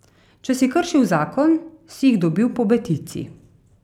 Če si kršil zakon, si jih dobil po betici.